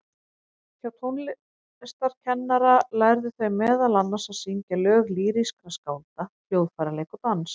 Hjá tónlistarkennara lærðu þau meðal annars að syngja lög lýrískra skálda, hljóðfæraleik og dans.